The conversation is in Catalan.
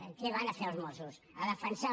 què hi van a fer els mossos a defensar